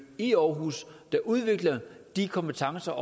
i aarhus der udvikler de kompetencer